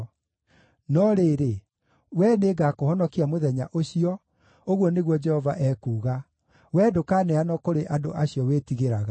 No rĩrĩ, wee nĩngakũhonokia mũthenya ũcio, ũguo nĩguo Jehova ekuuga; wee ndũkaneanwo kũrĩ andũ acio wĩtigĩraga.